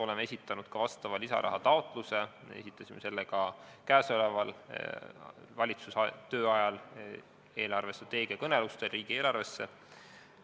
Oleme esitanud lisarahataotluse, esitasime selle ka käesoleva valitsuse tööajal, eelarvestrateegia kõnelustel riigieelarve kohta.